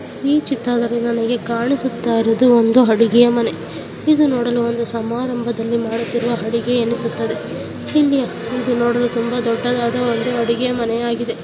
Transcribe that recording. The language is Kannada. ಈ ಚಿತ್ರದಲ್ಲಿ ನನಗೆ ಕಾಣಿಸುತ್ತಿರುವುದು ಒಂದು ಅಡುಗೆಯ ಮನೆ. ಇದು ನೋಡಲು ಒಂದು ಸಮಾರಂಭದಲ್ಲಿ ಮಾಡುತ್ತಿರುವ ಅಡುಗೆ ಅನಿಸುತ್ತದೆ. ಇಲ್ಲಿ ಇದು ನೋಡಲು ತುಂಬಾ ದೊಡ್ಡದಾದ ಒಂದು ಅಡುಗೆ ಮನೆಯಾಗಿದೆ.